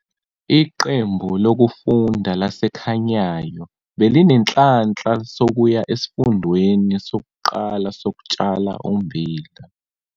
Iqembu lokufunda laseKhanyayo belinenhlanhla sokuya Esifundweni Sokuqala Sokutshala Ummbila.